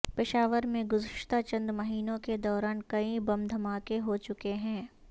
پشاور میں گزشتہ چند مہینوں کے دوران کئی بم دھماکے ہوچکے ہیں